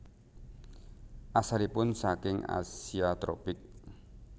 Asalipun saking Asia tropik